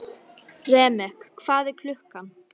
Remek, hvað er klukkan?